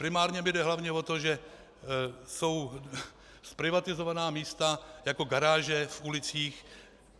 Primárně mi jde hlavně o to, že jsou zprivatizována místa jako garáže v ulicích.